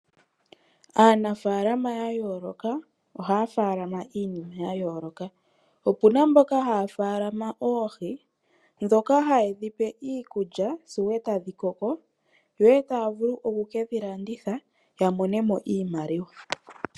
Aanafaalama yayooloka ohaya faalama iinima yayooloka, opuna mboka haya faalama oohi dhoka hayedhipe iikulya sigo etadhikoko sigo taya vulu okukedhi landitha yamonemo iimaliwa.